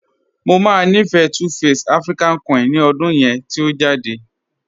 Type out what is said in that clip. Mọ máa nífẹ́ 2face African Queen ní ọ̀dún yẹn tí o jadẹ̀.